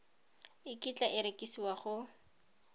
e kitla e rekisiwa go